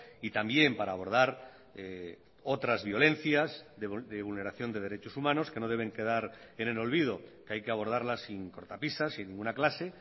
y también para abordar otras violencias de vulneración de derechos humanos que no deben quedar en el olvido que hay que abordarlas sin cortapisas sin ninguna clase